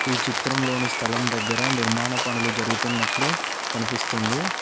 ఈ చిత్రంలోని స్థలం దగ్గర నిర్మాణ పనులు జరుగుతున్నట్లు కనిపిస్తుంది.